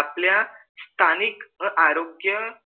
आपल्या स्थानिक आरोग्य